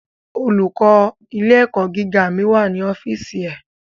Olùkó ilé ẹ̀kọ́ gíga mi ma wà ní ọ́fìsì ẹ̀.